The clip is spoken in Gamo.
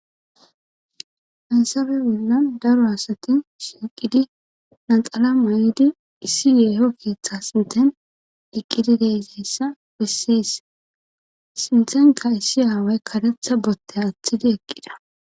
Hansabe wollan daro asatin siiqidi naxala may'idi issi yeeho keeththa sinten iqqidi deizayssa bessis sintenka issi aaway karetha botte aththidi eqqida.